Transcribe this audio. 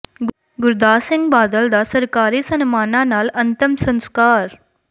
ਗੁਰਦਾਸ ਸਿੰਘ ਬਾਦਲ ਦਾ ਸਰਕਾਰੀ ਸਨਮਾਨਾਂ ਨਾਲ ਅੰਤਮ ਸੰਸਕਾਰ